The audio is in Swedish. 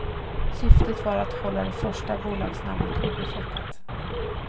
Syftet var att hålla det första bolagsnamnet obefläckat.